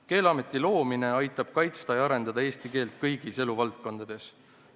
Keeleameti loomine aitab kaitsta ja arendada eesti keelt kõigis eluvaldkondades.